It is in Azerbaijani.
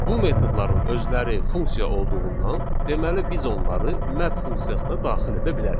Bu metodların özləri funksiya olduğundan, deməli biz onları map funksiyasına daxil edə bilərik.